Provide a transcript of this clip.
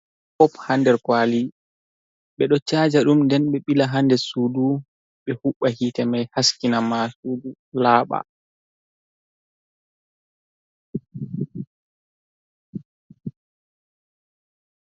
Bop ha nder kwali ɓe do chaja ɗum, nden be ɓila hander sudu ɓe huɓɓa yite mai haskina ma sudu laaɓa.